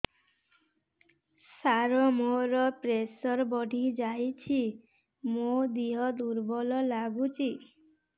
ସାର ମୋର ପ୍ରେସର ବଢ଼ିଯାଇଛି ମୋ ଦିହ ଦୁର୍ବଳ ଲାଗୁଚି